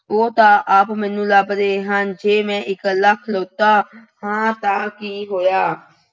ਉਹ ਤਾਂ ਆਪ ਮੈਨੂੰ ਲੱਭ ਰਹੇ ਹਨ। ਜੇ ਮੈਂ ਇਕੱਲਾ ਖੜੌਤਾ ਹਾਂ ਤਾਂ ਕੀ ਹੋਇਆ।